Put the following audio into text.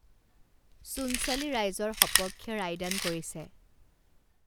চূনচালি ৰাইজৰ সপক্ষে ৰায়দান কৰিছে